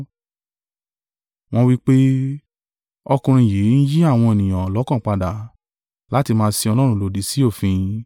Wọ́n wí pé, “Ọkùnrin yìí ń yí àwọn ènìyàn lọ́kàn padà, láti máa sin Ọlọ́run lòdì sí òfin.”